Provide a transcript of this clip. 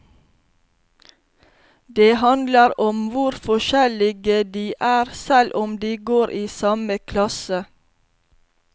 Det handler om hvor forskjellige de er, selv om de går i samme klasse.